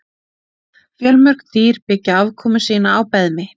Fjölmörg dýr byggja afkomu sína á beðmi.